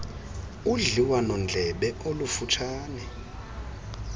udliwano ndlebe olufutshane